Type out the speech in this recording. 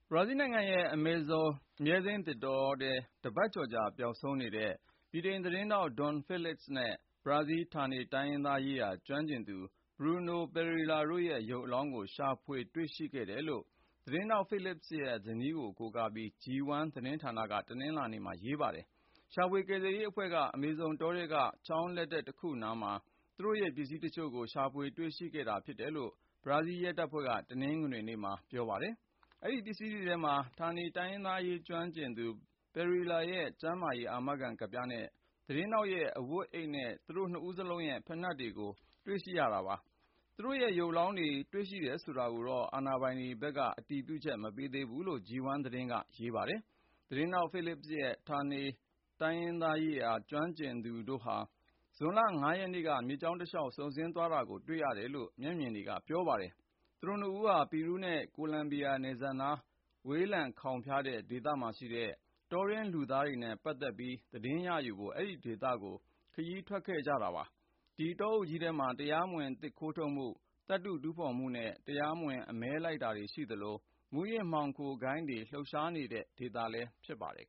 ဘရာဇီးနိုင်ငံရဲ့ အမေဇုန် အမြဲစိမ်းသစ်တောထဲ တပတ်ကျော်ကြာ ပျောက်ဆုံးနေတဲ့ ဗြိတိန် သတင်းထောက် Dom Phillips နဲ့ ဘရာဇီး ဌာနေတိုင်းရင်းသားရေးရာ ကျွမ်းကျင်သူ Bruno Pereira တို့ရဲ့ ရုပ်အလောင်းတွေကို ရှာဖွေ တွေ့ရှိခဲ့တယ်လို့ သတင်းထောက် Phillips ရဲ့ဇနီးကို ကိုးကားပြီး G1 သတင်းဌာနက တနင်္လာနေ့မှာ ရေးပါတယ်။ ရှာဖွေ ကယ်ဆယ်ရေးအဖွဲ့က အမေဇုန်တောထဲက ချောင်းလက်တက် တခုနားမှာ သူတို့ရဲ့ပစ္စည်းတချို့ကို ရှာဖွေ တွေ့ရှိခဲ့တာဖြစ်တယ်လို့ ဘရာဇီးရဲတပ်ဖွဲ့က တနင်္ဂနွေနေ့မှာ ပြောပါတယ်။ အဲဒီပစ္စည်းတွေထဲမှာ ဌာနေတိုင်းရင်းသားအရေး ကျွမ်းကျင်သူ Pereira ရဲ့ကျန်းမာရေးအာမခံ ကဒ်ပြားနဲ့ သတင်းထောက်ရဲ့ အဝတ်အိတ်နဲ့ သူတို့ နှစ်ဦးစလုံးရဲ့ ဖိနတ်တွေလည်း ပါဝင်တာပါ။ သူတို့ ရုပ်အလောင်းတွေ တွေ့တယ်ဆိုတာကို အာဏာပိုင်တွေဖက်က အတည်ပြုချက် မပေးသေးဘူးလို့ G1 သတင်းက ရေးပါတယ်။ သတင်းထောက် Phillips နဲ့ ဌာနေတိုင်းရင်းသားအရေး ကျွမ်းကျင်သူ Pereira တို့ဟာ ဇွန်လ(၅)ရက်နေ့က မြစ်ကြောင်းတလျှောက် စုန်ဆင်းသွားတာကို တွေ့ရတယ်လို့ မျက်မြင်တွေက ပြောပါတယ်။ Phillips ဟာ The Guardian နဲ့ The Washington Post တို့မှာ အလွတ် သတင်းထောက်အဖြစ် လုပ်ကိုင်နေသူပါ။ သူတို့ နှစ်ဦးဟာ ပီရူးနဲ့ ကိုလံဘီယာနယ်စပ်နား ဝေးလံခေါင်းဖျားတဲ့ ဒေသမှာရှိတဲ့ တောတွင်းလူသားနဲ့ ပတ်သက်ပြီး သတင်းရယူဖို့ အဲဒီခရီးကို ထွက်သွားကြတာ ဖြစ်ပါတယ်။ ဒီတောအုပ်ကြီးထဲမှာ တရားမဝင် သစ်ခိုးထုတ်မှု ၊ သတ္တု တူးဖေါ်မှုနဲ့ တရားမဝင် အမဲလိုက်တာတွေ ရှိသလို၊ မူးယစ်မှောင်ခိုဂိုဏ်းတွေ လှုပ်ရှားနေတဲ့ ဒေသလည်း ဖြစ်ပါတယ်